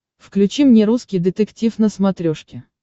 включи мне русский детектив на смотрешке